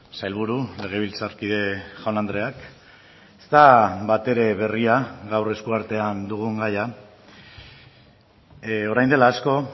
sailburu legebiltzarkide jaun andreak ezta batere berria gaur esku artean dugun gaia orain dela asko